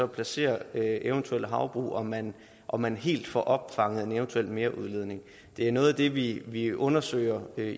placerer eventuelle havbrug om man om man helt får opfanget en eventuel merudledning det er noget af det vi vi undersøger